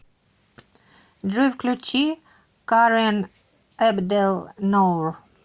джой включи карэн эбдэл ноур